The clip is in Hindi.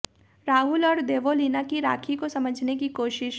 राहुल और देवोलीना की राखी को समझाने की कोशिश